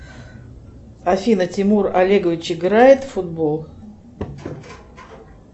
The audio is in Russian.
афина тимур олегович играет в футбол